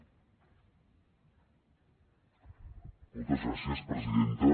moltes gràcies presidenta